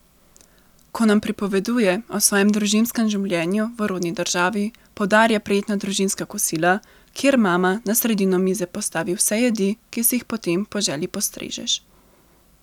Ko nam pripoveduje o svojem družinskem življenju v rodni državi, poudarja prijetna družinska kosila, kjer mama na sredino mize postavi vse jedi, ki si jih potem po želji postrežeš.